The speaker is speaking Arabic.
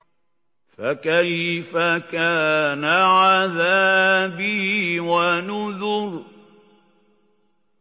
فَكَيْفَ كَانَ عَذَابِي وَنُذُرِ